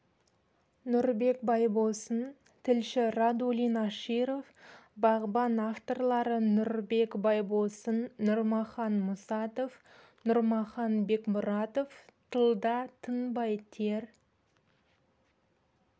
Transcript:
нұрбек байбосын тілші радулин аширов бағбан авторлары нұрбек байбосын нұрмахан мұсатов нұрмахан бекмұратов тылда тынбай тер